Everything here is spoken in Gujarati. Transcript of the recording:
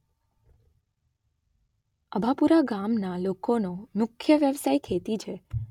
અભાપુરા ગામના લોકોનો મુખ્ય વ્યવસાય ખેતી છે.